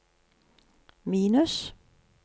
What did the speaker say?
minus